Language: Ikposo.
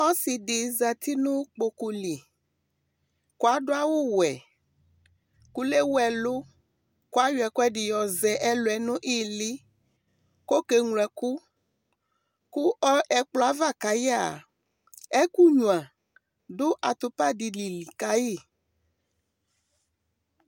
Ɔsɩ zati nʋ kpoku li kʋ adʋ awʋwɛ kʋ lewu ɛlʋ kʋ ayɔ ɛkʋɛdɩ yɔzɛ ɛlʋ yɛ nʋ ɩɩlɩ kʋ ɔkeŋlo ɛkʋ Kʋ ɔ ɛkplɔ yɛ ava ka yɩ a, ɛkʋnyuǝ dʋ atʋpa dɩnɩ li ka yɩ